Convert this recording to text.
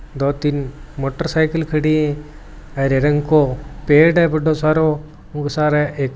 दो तीन मोटरसाइकिल खड़ी है हरे रंग को पेड़ है बड़ो सारो खूब सारो --